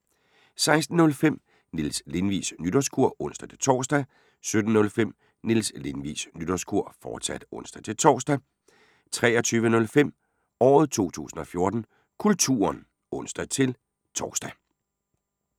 16:05: Niels Lindvigs Nytårskur (ons-tor) 17:05: Niels Lindvigs Nytårskur, fortsat (ons-tor) 23:05: Året 2014: Kulturen (ons-tor)